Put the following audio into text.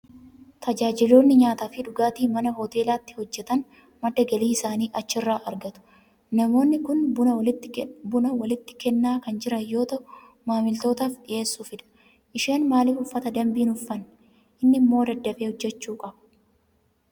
Tajaajiltoonni nyaataa fi dhugaatii mana hoteelaatti hojjetan madda galii isaanii achirraa argatu. Namoonni kun buna walitti kennaa kan jiran yoo ta'u, maamiltootaaf dhiyeessuufidha. Isheen maaliif uffata dambii hin uffanne? Inni immoo daddafee hojjechuu qaba!